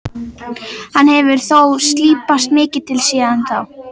Hann hefur þó slípast mikið til síðan þá.